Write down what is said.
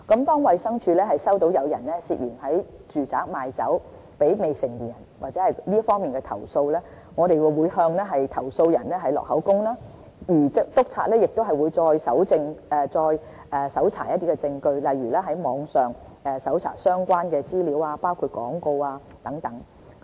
當衞生署接獲有人涉嫌在住宅賣酒給未成年人或這方面的的投訴，我們會向投訴人錄取口供，而督察亦會再搜查證據，例如在網上搜尋相關的資料，包括廣告等。